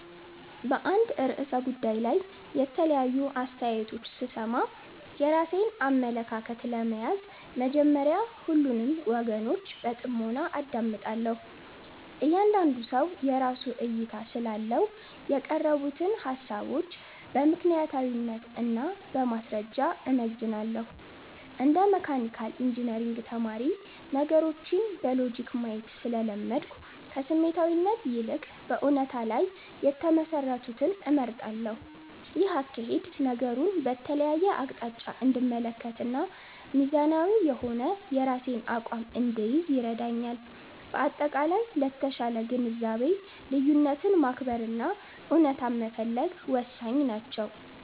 በአንድ ርዕሰ ጉዳይ ላይ የተለያዩ አስተያየቶች ስሰማ፣ የራሴን አመለካከት ለመያዝ መጀመሪያ ሁሉንም ወገኖች በጥሞና አዳምጣለሁ። እያንዳንዱ ሰው የራሱ እይታ ስላለው፣ የቀረቡትን ሃሳቦች በምክንያታዊነት እና በማስረጃ እመዝናለሁ። እንደ መካኒካል ኢንጂነሪንግ ተማሪ፣ ነገሮችን በሎጂክ ማየት ስለለመድኩ፣ ከስሜታዊነት ይልቅ በእውነታ ላይ የተመሰረቱትን እመርጣለሁ። ይህ አካሄድ ነገሩን በተለያየ አቅጣጫ እንድመለከትና ሚዛናዊ የሆነ የራሴን አቋም እንድይዝ ይረዳኛል። በአጠቃላይ፣ ለተሻለ ግንዛቤ ልዩነትን ማክበር እና እውነታን መፈለግ ወሳኝ ናቸው።